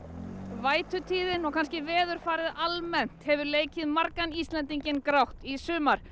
vætutíðin og kannski veðurfarið almennt hefur leikið margan Íslendinginn grátt í sumar